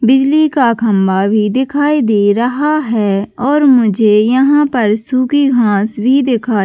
बिजली का खंभा भी दिखाई दे रहा है और मुझे यहाँ पर सुखी घाँस भी दिखाई--